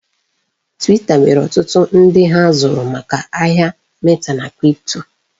Twita nwere ọtụtụ ndi ha zụrụ maka ahịa meta na kripto.